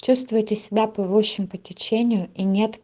чувствуете себя плывущим по течению и нет